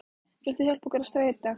Vilt þú hjálpa okkur að skreyta?